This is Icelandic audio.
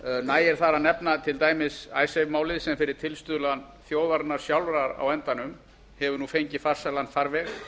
nægir þar að nefna til dæmis icesave málið sem fyrir tilstuðlan þjóðarinnar sjálfrar á endanum hefur nú fengið farsælan farveg